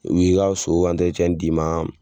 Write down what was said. U bi ka so ka d'i ma